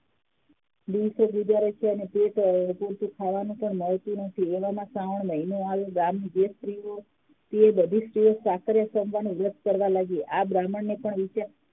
ગુજારે છે અને તેને ખાવાનું પણ મળતું નથી એવામાં શ્રાવણ મહિનો આવ્યો ગામની જે સ્ત્રી હતી એ બધી સ્રીઓ વ્રત કરવા લાગી આ બ્રાહ્મણ ને પણ વિચાર